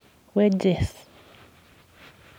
Wages.